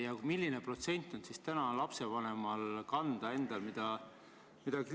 Ja milline protsent on lapsevanemal endal kanda?